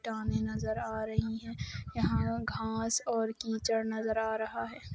पानी नज़र आ रही है यहाँ घास और कीचड़ नज़र आ रहा है।